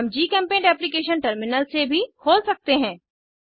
हम GChemPaint application terminal से भी खोल सकते हैं